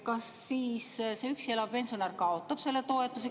Kas siis see üksi elav pensionär kaotab selle toetuse?